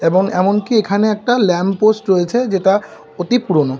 এবং এমনকি এখানে একটা ল্যাম্প পোস্ট রয়েছে যেটা অতি পুরোনো।